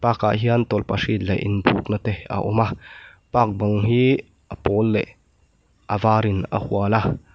park ah hian tawlhpahrit leh in buk na te a awm a park bang hi a pawl leh a var in a hual a.